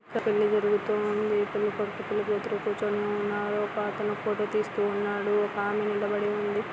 పెళ్లి జరుగుతూ ఉంది పెళ్లి కొడుకు పెళ్లి కూతురు కూర్చొని ఉన్నారు . ఒక అతను ఫోటో తీస్తూ ఉన్నాడు. ఒక ఆమే నిలబడి ఉంది .